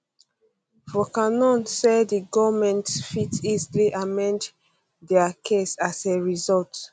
voncannon say di goment fit easily amend dia case as a result